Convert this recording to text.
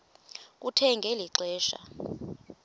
kuthe ngeli xesha